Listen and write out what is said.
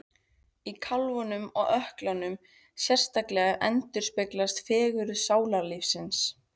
Í kálfunum og ökklunum sérstaklega endurspeglast fegurð sálarlífsins.